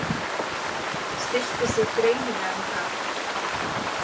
Stillti sig greinilega um það.